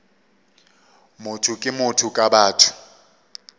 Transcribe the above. motho ke motho ka batho